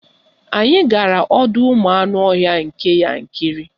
Anyị gara ọdọụmụanụọhịa nke Yankarị